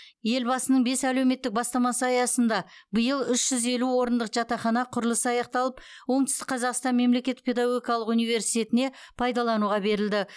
елбасының бес әлеуметтік бастамасы аясында биыл үш жүз елу орындық жатақхана құрылысы аяқталып оңтүстік қазақстан мемлекеттік педагогикалық университетіне пайдалануға берілді